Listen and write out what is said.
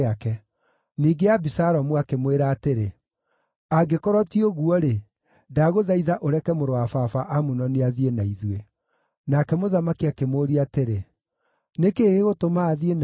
Ningĩ Abisalomu akĩmwĩra atĩrĩ, “Angĩkorwo ti ũguo-rĩ, ndagũthaitha ũreke mũrũ wa baba Amunoni athiĩ na ithuĩ.” Nake mũthamaki akĩmũũria atĩrĩ, “Nĩ kĩĩ gĩgũtũma athiĩ na inyuĩ?”